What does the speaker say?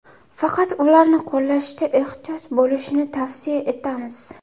Faqat ularni qo‘llashda ehtiyot bo‘lishni tavsiya etamiz.